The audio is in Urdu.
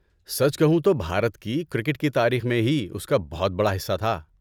سچ کہوں تو، بھارت کی کرکٹ کی تاریخ میں ہی اس کا بہت بڑا حصہ تھا۔